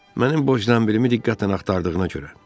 Mənim boş zənbilimi diqqətlə axtardığına görə.